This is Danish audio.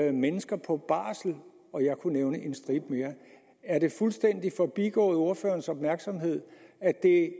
er mennesker på barsel og jeg kunne nævne en stribe mere er det fuldstændig forbigået ordførerens opmærksomhed at det